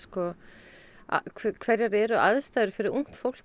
það hverjar eru aðstæðurnar fyrir ungt fólk